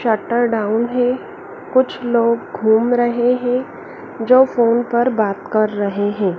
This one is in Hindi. शटर डाउन है कुछ लोग घूम रहे हैं जो फोन पर बात कर रहे हैं।